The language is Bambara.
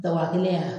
Daba kelen